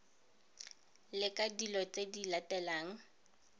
leka dilo tse di latelang